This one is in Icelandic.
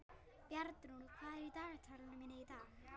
Bjarnrún, hvað er í dagatalinu mínu í dag?